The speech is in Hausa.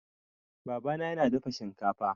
Baba na yana dafa shinkafa